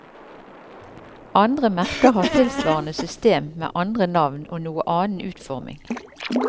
Andre merker har tilsvarende system med andre navn og noe annen utforming.